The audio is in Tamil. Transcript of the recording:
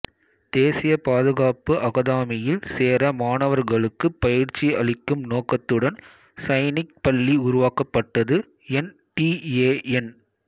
தேசிய பாதுகாப்பு அகாதமியில் சேர மாணவர்களுக்கு பயிற்சி அளிக்கும் நோக்கத்துடன் சைனிக் பள்ளி உருவாக்கப்பட்டது என் டி ஏ என்